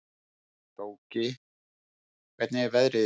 Tóki, hvernig er veðrið í dag?